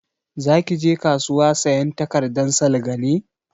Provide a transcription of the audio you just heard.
Za ki je kasuwa sayan takardan salga ne?